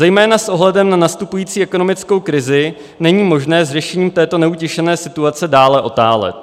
Zejména s ohledem na nastupující ekonomickou krizi není možné s řešením této neutěšené situace dále otálet.